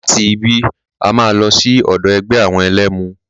Láti ibí, a máa lọ sí ọ̀dọ̀ ẹgbẹ́ àwọn ẹlẹ́mu.